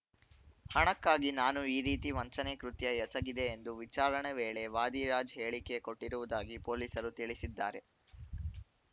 ಹಣಕ್ಕಾಗಿ ನಾನು ಈ ರೀತಿ ವಂಚನೆ ಕೃತ್ಯ ಎಸಗಿದೆ ಎಂದು ವಿಚಾರಣೆ ವೇಳೆ ವಾದಿರಾಜ್‌ ಹೇಳಿಕೆ ಕೊಟ್ಟಿರುವುದಾಗಿ ಪೊಲೀಸರು ತಿಳಿಸಿದ್ದಾರೆ